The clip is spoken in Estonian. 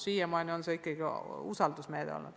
Siiamaani on see olnud ikkagi usaldusküsimus.